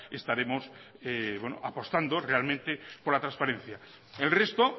estaremos apostando realmente por la transparencia el resto